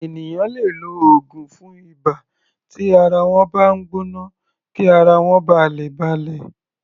Ènìyàn lè lo oògùn fún ibà tí ara wọ́n bá ń gbọ́ná kí ara wọ́n ba lè balẹ̀.